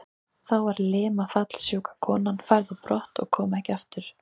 Þá var limafallssjúka konan færð á brott og kom ekki aftur.